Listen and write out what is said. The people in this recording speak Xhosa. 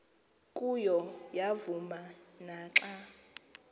kuyo yavuma naxa